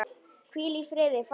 Hvíl í friði faðir minn.